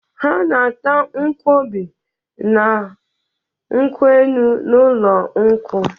Ha na-ata nkwọbi na kwụ enu n'ụlọ nkwụ.